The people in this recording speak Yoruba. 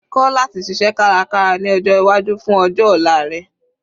Kọ́ láti ṣiṣẹ́ kárakára ní ọjọ́ iwájú fún ọjọ́ ọ̀la rẹ.